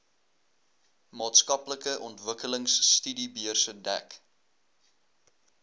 maatskaplike ontwikkelingstudiebeurse dek